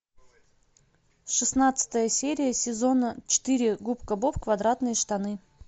шестнадцатая серия сезона четыре губка боб квадратные штаны